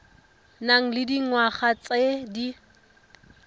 nang le dingwaga tse di